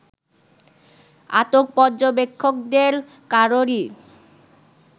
আটক পর্যবেক্ষকদের কারোরই